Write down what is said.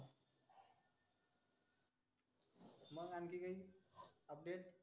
मग आणखी काही update